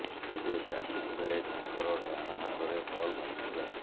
ତେବେ ବ୍ୟାଟିଂ ବେଳେ ତାଙ୍କର ଡାହାଣ ହାତରେ ବଲ ବାଜିଥିଲା